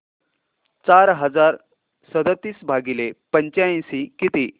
चार हजार सदतीस भागिले पंच्याऐंशी किती